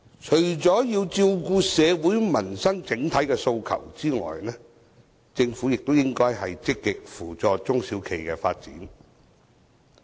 除要照顧社會民生整體訴求外，政府亦應積極扶助中小企的發展。